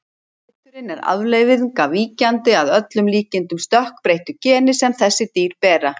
Liturinn er afleiðing af víkjandi, að öllum líkindum stökkbreyttu, geni sem þessi dýr bera.